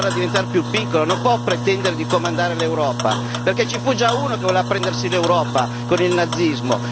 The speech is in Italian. Dobbiamo farla diventare più piccola non può pretendere di comandare l'Europa, perché ci fu già uno che voleva prendersi l'Europa con il nazismo.